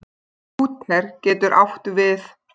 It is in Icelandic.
Lúther getur átt við